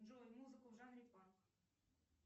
джой музыку в жанре панк